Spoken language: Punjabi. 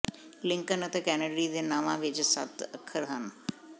ਲਿੰਕਨ ਅਤੇ ਕੈਨੇਡੀ ਦੇ ਨਾਵਾਂ ਵਿੱਚ ਸੱਤ ਅੱਖਰ ਹਨ